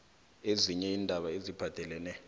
ezinye iindaba eziphathelene